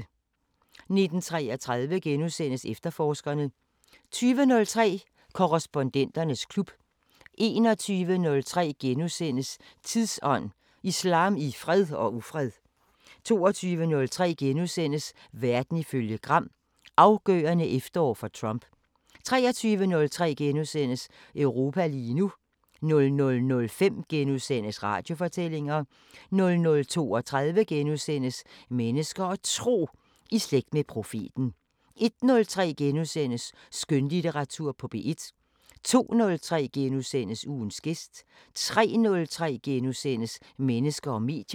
19:33: Efterforskerne * 20:03: Korrespondenternes klub 21:03: Tidsånd: Islam i fred og ufred * 22:03: Verden ifølge Gram: Afgørende efterår for Trump * 23:03: Europa lige nu * 00:05: Radiofortællinger * 00:32: Mennesker og Tro: I slægt med profeten * 01:03: Skønlitteratur på P1 * 02:03: Ugens gæst * 03:03: Mennesker og medier *